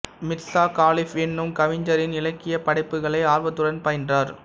மிர்சா காலிப் என்னும் கவிஞரின் இலக்கியப் படைப்புகளை ஆர்வத்துடன் பயின்றார்